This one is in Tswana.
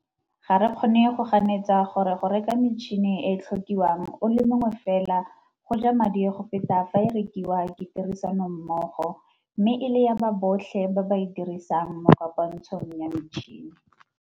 Ga re kgone go ganetsa gore go reka metšhene e e tlhokiwang o le mongwe fela go ja madi go feta fa e rekiwa ke tirisanommogo mme e le ya ba botlhe ba ba e dirisang mo kopantshong ya metšhene.